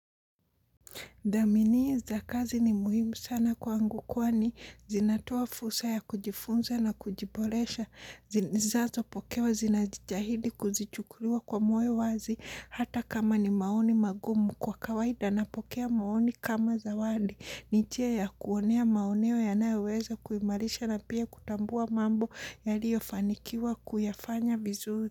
Dhaminio za kazi ni muhimu sana kwangu kwani zinatoa fursa ya kujifunza na kujiboresha. Zinazopokewa zinajitahidi kuzichukulia kwa moyo wazi hata kama ni maoni magumu kwa kawaida napokea maoni kama zawadi. Ni njia ya kuonea maoneo yanayoweza kuhimarisha na pia kutambua mambo yaliyo fanikiwa kuyafanya vizuri.